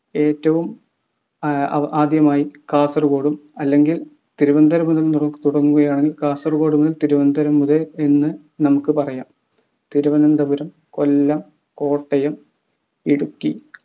ഏറ്റവും ഏർ അ ആദ്യമായി കാസർകോടും അല്ലെങ്കിൽ തിരുവനന്തപുരം മുതൽ തൊടങ്ങുകയാണെങ്കിൽ കാസർകോട്ന്ന് തിരുവനന്തപുരം വരെ എന്ന് നമ്മക്കു പറയാം. തിരുവനന്തപുരം കൊല്ലം കോട്ടയം ഇടുക്കി